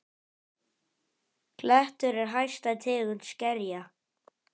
Klettur er hæsta tegund skerja.